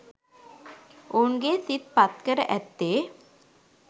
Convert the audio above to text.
ඔවුන්ගේ සිත් පත්කර ඇත්තේ